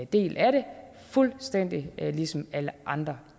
del af det fuldstændig ligesom alle andre